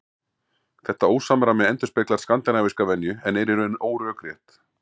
Þetta ósamræmi endurspeglar skandinavíska venju en er í raun órökrétt.